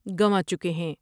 گنوا چکے ہیں ۔